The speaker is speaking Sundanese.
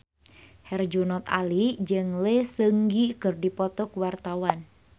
Herjunot Ali jeung Lee Seung Gi keur dipoto ku wartawan